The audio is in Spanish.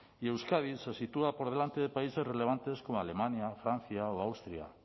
y euskadi se sitúa por delante de países relevantes como alemania francia o austria